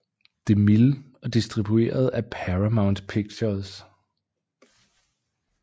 DeMille og distribueret af Paramount Pictures